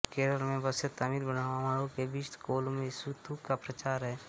केरल में बसे तमिल ब्राह्मणों के बीच कोलमेष़ुत्तु का प्रचार है